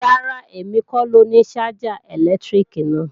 Rárá, èmi kọ lóni ṣájà ẹ̀lẹ́tíríkì náà